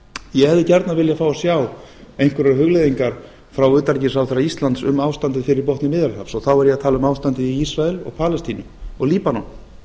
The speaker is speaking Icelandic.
ég hefði gjarnan viljað fá að sjá einhverjar hugleiðingar frá utanríkisráðherra íslands um ástandið fyrir botni miðjarðarhafs og þá er ég að tala um ástandið í ísrael palestínu og líbanon